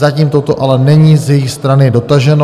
Zatím toto ale není z jejich strany dotaženo.